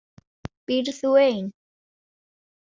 Býrð þú ein?